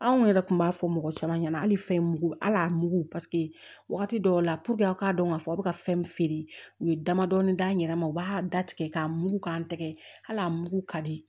Anw yɛrɛ kun b'a fɔ mɔgɔ caman ɲɛna hali fɛn mugu al'a mugu wagati dɔw la a k'a dɔn k'a fɔ aw bɛ ka fɛn min feere u ye damadɔnin d'an yɛrɛ ma u b'a da tigɛ k'a mugu k'an tɛgɛ hali a mugu ka di